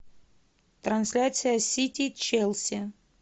трансляция сити челси